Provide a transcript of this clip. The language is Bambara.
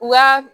Wa